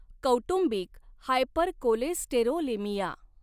कौटुंबिक हायपरकोलेस्टेरोलेमिया .